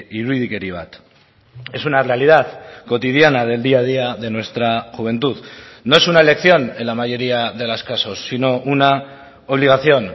irudikeri bat es una realidad cotidiana del día a día de nuestra juventud no es una elección en la mayoría de los casos sino una obligación